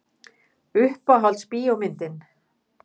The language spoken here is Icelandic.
Uppáhalds bíómyndin?